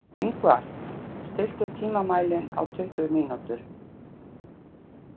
Yngvar, stilltu tímamælinn á tuttugu mínútur.